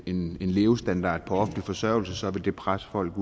en levestandard på offentlig forsørgelse så vil det pres folde